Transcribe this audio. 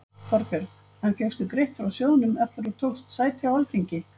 Þorbjörn: En fékkstu greitt frá sjóðnum eftir að þú tókst sæti á Alþingi?